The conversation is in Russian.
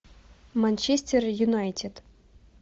манчестер юнайтед